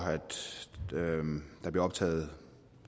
der bliver optaget